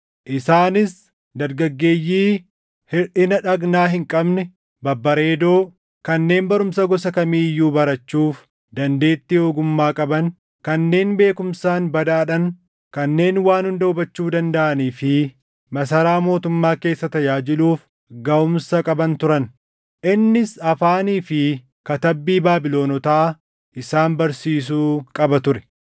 isaanis dargaggeeyyii hirʼina dhagnaa hin qabne, babbareedoo, kanneen barumsa gosa kamii iyyuu barachuuf dandeettii ogummaa qaban, kanneen beekumsaan badhaadhan, kanneen waan hunda hubachuu dandaʼanii fi masaraa mootummaa keessa tajaajiluuf gaʼumsa qaban turan. Innis afaanii fi katabbii Baabilonotaa isaan barsiisuu qaba ture.